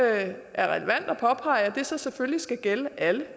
er relevant at påpege at det selvfølgelig skal gælde alle